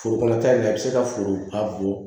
Foro kɔnɔta nin a bɛ se ka foro a bɔn